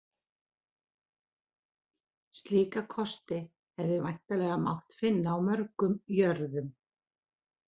Slíka kosti hefði væntanlega mátt finna á mörgum jörðum.